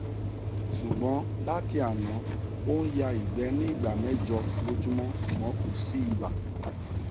ṣùgbọn láti àná ó ń ya igbe ní ìgbà mẹjọ lójúmọ ṣùgbọn kò sí ibà